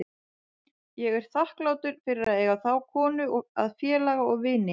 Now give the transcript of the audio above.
Ég er þakklátur fyrir að eiga þá konu að félaga og vini.